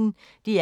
DR P1